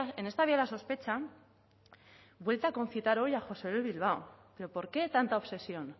en esta vía de la sospecha vuelve a concitar hoy a josé luis bilbao pero por qué tanta obsesión